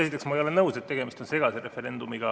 Esiteks, ma ei ole nõus, et tegemist on segase referendumiga.